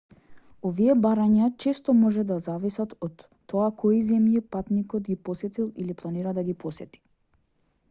овие барања често може да зависат од тоа кои земји патникот ги посетил или планира да ги посети